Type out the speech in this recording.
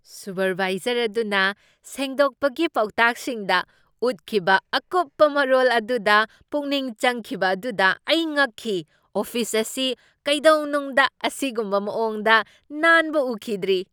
ꯁꯨꯚꯥꯏꯖꯔ ꯑꯗꯨꯅ ꯁꯦꯡꯗꯣꯛꯄꯒꯤ ꯄꯥꯎꯇꯥꯛꯁꯤꯡꯗ ꯎꯠꯈꯤꯕ ꯑꯀꯨꯞꯄ ꯃꯔꯣꯜ ꯑꯗꯨꯗ ꯄꯨꯛꯅꯤꯡ ꯆꯪꯈꯤꯕ ꯑꯗꯨꯗ ꯑꯩ ꯉꯛꯈꯤ꯫ ꯑꯣꯐꯤꯁ ꯑꯁꯤ ꯀꯩꯗꯧꯅꯨꯡꯗ ꯑꯁꯤꯒꯨꯝꯕ ꯃꯑꯣꯡꯗ ꯅꯥꯟꯕ ꯎꯈꯤꯗ꯭ꯔꯤ!